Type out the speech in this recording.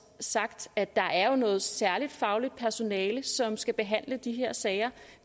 sagt at der jo er noget særligt fagligt personale som skal behandle de her sager